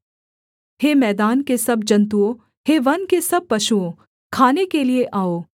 हे मैदान के सब जन्तुओं हे वन के सब पशुओं खाने के लिये आओ